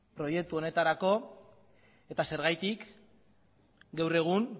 proiektu honetarako eta zergatik gaur egun